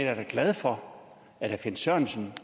er da glad for at herre finn sørensen